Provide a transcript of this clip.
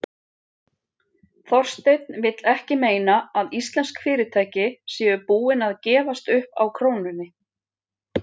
Þorsteinn vill ekki meina að íslensk fyrirtæki séu búin að gefast upp á krónunni?